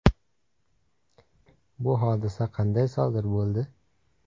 Bu hodisa qanday sodir bo‘ldi?